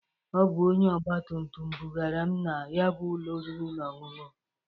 Ọ bụ onye ọgba tumtum bụgaara m na ya bụ ụlọ oriri na ọṅụṅụ.